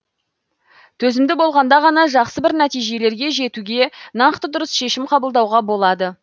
төзімді болғанда ғана жақсы бір нәтижелерге жетуге нақты дұрыс шешем қабылдауға болады